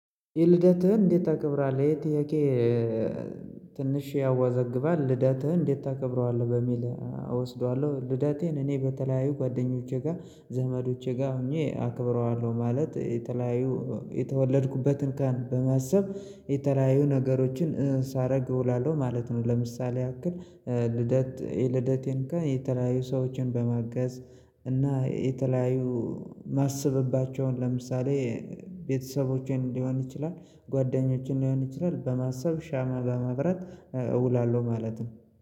የልደትህን እንዴት ታከብራለህ የህ ጥያቄ ትንሽ ያወዘግባል ልደትህን እንዴት ታከብረዋለህ በሚል? እወስደዋለሁ ልዳቴን እኔ በተለያዩ ጓደኞቼ ጋር ዘመዶቼ ጋር ሆኜ አከብረዋለሁ ማለት የተለያዩ የተወለድኩበትን ቀን በማሰብ የተለያዩ ነገሮችን ሳረግ እውላለሁ ማለት ነው። ለምሳሌ ያክል ልደት የልደቴን ቀን የተለያዩ ሰዎችን በማገዝ እና የተለያዩ ማሰብባቸውን ለምሳሌ ቤተሰቦችን ሊሆን ይችላል ጓደኞችን ሊሆን ይችላል በማሰብ ሻማ በመብረት እውላለሁ ማለት ነው